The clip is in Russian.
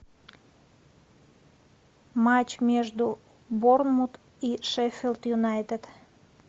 матч между борнмут и шеффилд юнайтед